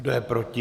Kdo je proti?